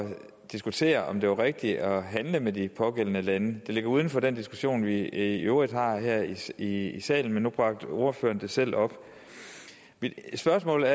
diskutere om det var rigtigt at handle med de pågældende lande det ligger uden for den diskussion vi i øvrigt har her i i salen men nu bragte ordføreren det selv op spørgsmålet